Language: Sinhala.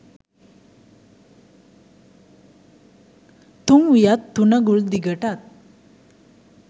තුන් වියත් තුනඟුල් දිගටත්